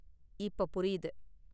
இப்ப புரியுது.